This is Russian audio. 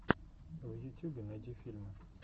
в ютюбе найди фильмы